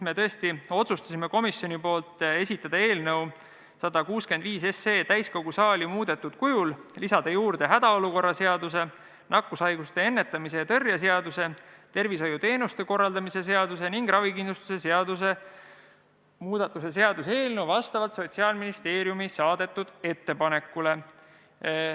Me otsustasime komisjonis esitada eelnõu 165 täiskogu saali muudetud kujul, lisada juurde hädaolukorra seaduse, nakkushaiguste ennetamise ja tõrje seaduse, tervishoiuteenuste korraldamise seaduse ning ravikindlustuse seaduse muutmise seaduse eelnõu vastavalt Sotsiaalministeeriumi saadetud ettepanekule.